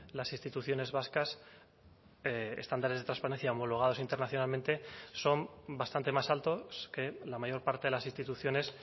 las instituciones vascas estándares de transparencia homologados internacionalmente son bastante más altos que la mayor parte de las instituciones